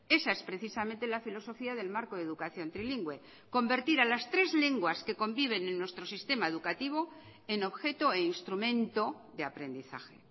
esa es precisamente la filosofía del marco de educación trilingüe convertir a las tres lenguas que conviven en nuestro sistema educativo en objeto e instrumento de aprendizaje